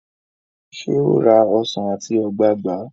ṣe o rà Ọsán ati ogbagba?